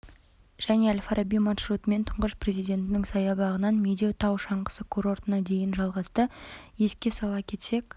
және әл-фараби маршрутымен тұңғыш президенттің саябағынан медеу тау шаңғысы курортына дейін жалғасты еске сала кетсек